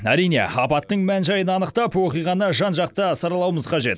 әрине апаттың мән жайын анықтап оқиғаны жан жақты саралауымыз қажет